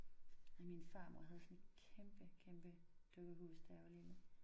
Ej min farmor havde sådan et kæmpe kæmpe dukkehus da jeg var lille